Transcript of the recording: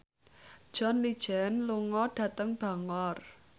John Legend lunga dhateng Bangor